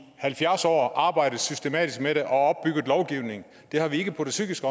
halvfjerds år arbejdet systematisk med det og opbygget lovgivning det har vi ikke på det psykiske